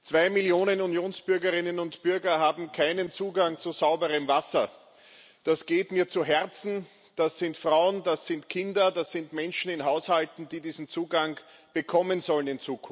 Zwei Millionen Unionsbürgerinnen und bürger haben keinen Zugang zu sauberem Wasser. Das geht mir zu Herzen Das sind Frauen, das sind Kinder, das sind Menschen in Haushalten, die diesen Zugang in Zukunft bekommen sollen.